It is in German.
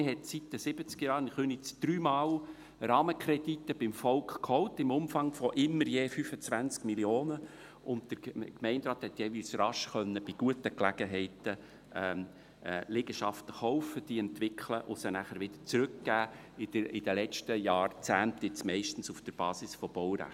Man hat seit den Siebzigerjahren in Köniz dreimal beim Volk Rahmenkredite geholt, im Umfang von immer je 25 Mio. Franken, und der Gemeinderat hat jeweils bei guten Gelegenheiten Liegenschaften rasch kaufen, diese entwickeln und nachher wieder zurückgeben können – in den letzten Jahrzehnten meist auf der Basis von Baurechten.